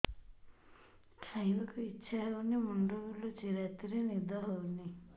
ଖାଇବାକୁ ଇଛା ହଉନି ମୁଣ୍ଡ ବୁଲୁଚି ରାତିରେ ନିଦ ହଉନି